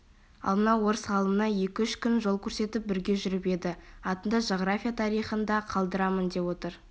ал мына орыс ғалымына екі-үш күн жол көрсетіп бірге жүріп еді атыңды жағрафия тарихында қалдырамын деп отыр